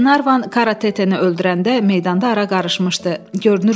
Qlenarvan Karatetenı öldürəndə meydanda ara qarışmışdı.